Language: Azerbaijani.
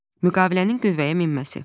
Müqavilənin qüvvəyə minməsi.